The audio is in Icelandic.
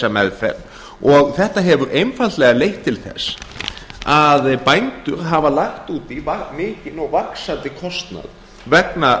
meðferð og þetta hefur einfaldlega leitt til þess að bændur hafa lagt út í mikinn og vaxandi kostnað vegna